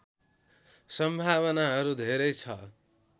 सम्भावनाहरू धेरै छ